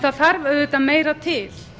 það þarf auðvitað meira til